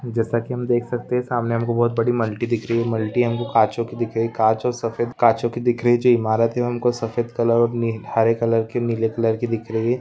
जैसा कि हम देख सकते है सामने हमको बहुत बड़ी मल्टी दिख रही है मल्टी हमें काचों की दिख रही है कांच और सफेद काचों की दिख रही जो इमारत है उनको सफेद कलर हरे कलर की नीले कलर की दिख रही है।